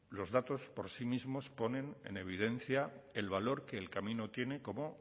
los datos por sí mismos ponen en evidencia el valor que el camino tiene como